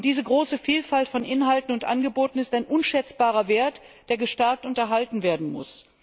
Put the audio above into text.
Diese große Vielfalt von Inhalten und Angeboten ist ein unschätzbarer Wert, der gestärkt und erhalten werden muss.